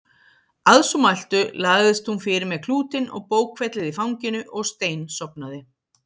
Að svo mæltu lagðist hún fyrir með klútinn og bókfellið í fanginu og steinsofnaði.